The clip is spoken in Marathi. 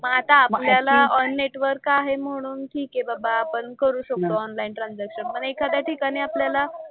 मग आता आपल्याला ऑन नेटवर्क आहे म्हणून ठीक आहे बाबा आपण करू शकतो ऑनलाईन ट्रांझॅक्शन पण एखाद्या ठिकाणी आपल्याला,